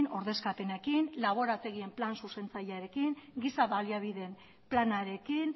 ordezkapenekin laborategian plan zuzentzailearekin giza baliabideen planarekin